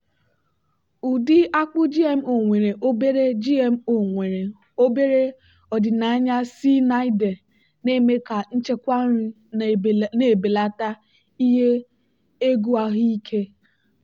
ụdị akpu gmo nwere obere gmo nwere obere ọdịnaya cyanide na-eme ka nchekwa nri na-ebelata ihe egwu ahụike.